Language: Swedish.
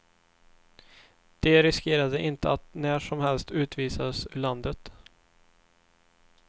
De riskerade inte att när som helst utvisas ur landet.